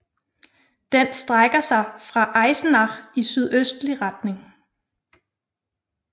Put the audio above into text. Den strækker sig fra Eisenach i sydøstlig retning